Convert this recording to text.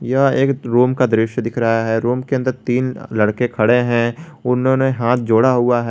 यह एक रुम का दृश्य दिख रहा है रुम के अन्दर तीन लड़के खड़े है उन्होंने हाथ जोड़ा है।